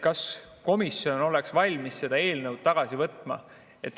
Kas komisjon oleks valmis selle eelnõu tagasi võtma?